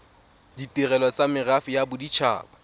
ditirelo tsa merafe ya bodit